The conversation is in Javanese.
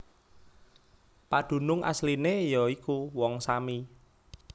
Padunung asliné ya iku Wong Sami